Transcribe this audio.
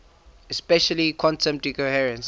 especially quantum decoherence